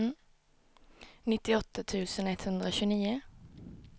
nittioåtta tusen etthundratjugonio